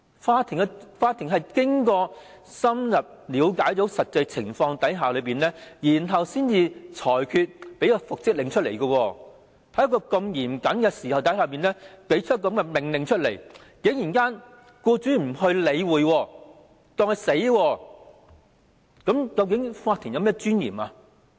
法院經過深入了解實際情況後才作出復職令，但僱主竟然對法院經嚴謹考慮作出的命令不予理會，視法院命令如無物，那麼法院的尊嚴何在？